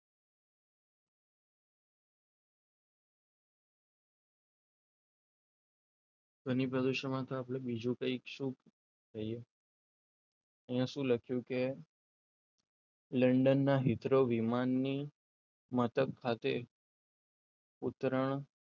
ધ્વનિ પ્રદૂષણમાં તો આપણે બીજું કંઈક શું કહીએ અહીંયા શું લખ્યું કે લંડન ના હિતરો વિમાનને મતલબ ખાતે ઉતરણ,